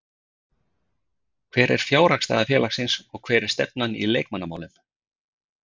Hver er fjárhagsstaða félagsins og hver er stefnan í leikmannamálum?